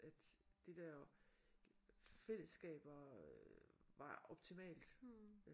At det der fællesskab var var optimalt